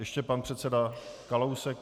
Ještě pan předseda Kalousek.